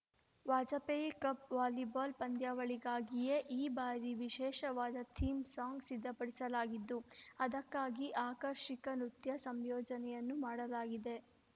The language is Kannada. ವಾಜಪೇಯಿ ಕಪ್‌ ವಾಲಿಬಾಲ್‌ ಪಂದ್ಯಾವಳಿಗಾಗಿಯೇ ಈ ಬಾರಿ ವಿಶೇಷವಾದ ಥೀಮ್‌ ಸಾಂಗ್‌ ಸಿದ್ಧಪಡಿಸಲಾಗಿದ್ದು ಅದಕ್ಕಾಗಿ ಆಕರ್ಷಕ ನೃತ್ಯ ಸಂಯೋಜನೆಯನ್ನೂ ಮಾಡಲಾಗಿದೆ